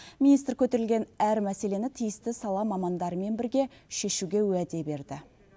министр көтерілген әр мәселені тиісті сала мамандарымен бірге шешуге уәде берді